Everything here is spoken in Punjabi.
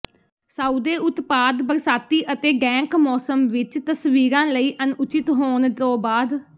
ਸਾਉਦੇ ਉਤਪਾਦ ਬਰਸਾਤੀ ਅਤੇ ਡੈਂਕ ਮੌਸਮ ਵਿੱਚ ਤਸਵੀਰਾਂ ਲਈ ਅਣਉਚਿਤ ਹੋਣ ਤੋਂ ਬਾਅਦ